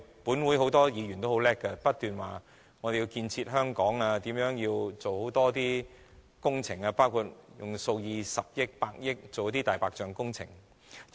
本會很多議員也很精明，不斷說要建設香港，如何做好工程，包括用數以十億元或百億元在"大白象"工程上。